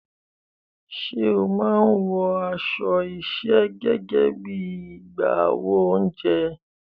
Ṣé o máa ń wọ aṣọ iṣẹ́ gẹ́gẹ́ bí i agbáwo oúnjẹ?